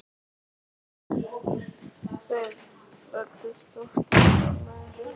Þeir ræddust oft við á leiðinni eftir þetta.